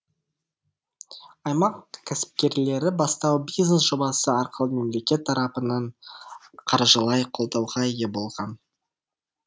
аймақ кәсіпкерлері бастау бизнес жобасы арқылы мемлекет тарапынан қаржылай қолдауға ие болған